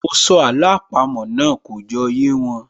Mọ sọ àló àpamọ́ náà, kò jọ yé wọn